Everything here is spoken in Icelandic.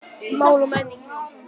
Mál og menning.